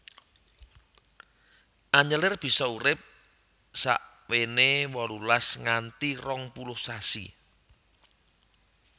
Anyelir bisa urip sakwéné wolulas nganthi rong puluh sasi